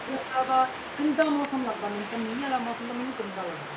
ਹੋ ਜਾਂਦਾ ਵਾ, ਗੰਦਾ ਮੌਸਮ ਲੱਗਦਾ ਮੈਨੂੰ ਤਾਂ ਮੀਂਹ ਵਾਲਾ ਮੌਸਮ ਤਾਂ ਮੈਨੂੰ ਗੰਦਾ ਲੱਗਦਾ